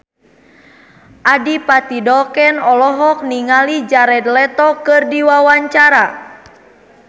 Adipati Dolken olohok ningali Jared Leto keur diwawancara